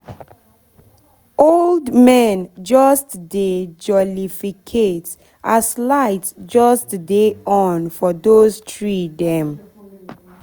old men just dey jolificate as light just dey on for those tree dem